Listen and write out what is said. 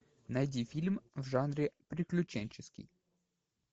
найди фильм в жанре приключенческий